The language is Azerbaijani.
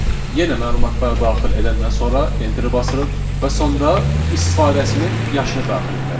Yenə məlumatları daxil edəndən sonra enterə basırıq və sonda istifadəçinin yaşını daxil etməliyik.